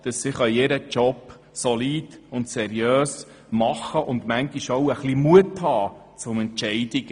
So kann sie ihre Arbeit in seriöser Weise tun und mutige Entscheide fällen.